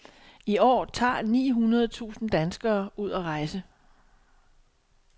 I år tager ni hundrede tusind danskere ud at rejse.